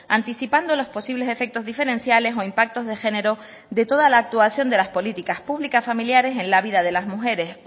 anticipando las posibles efectos diferenciales o impactos de género de toda la actuación de las políticas públicas familiares en la vida de las mujeres